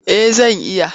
Eh zan iya.